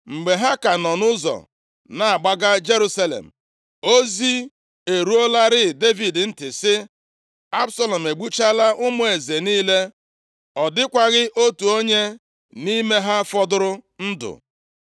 Mgbe ha ka nọ nʼụzọ na-agbaga Jerusalem, ozi eruolarị Devid ntị sị, “Absalọm egbuchaala ụmụ eze niile, ọ dịkwaghị otu onye nʼime ha fọdụrụ ndụ!”